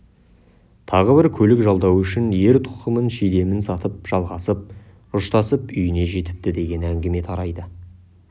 тағы бірі көлік жалдау үшін ер-тоқымын шидемін сатып жалғасып ұштасып үйіне жетіпті деген әңгіме тарайды